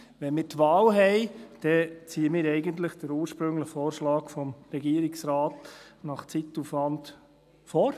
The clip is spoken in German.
Wenn wir die Wahl haben, dann ziehen wir eigentlich den ursprünglichen Vorschlag des Regierungsrates, nach Zeitaufwand, vor.